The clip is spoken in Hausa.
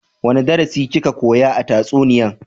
Wani darasi ki ka koya a tatsuniyan?